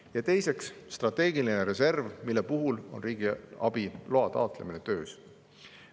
Ja teiseks, strateegiline reserv, mille puhul on riigiabiloa taotlemine töös.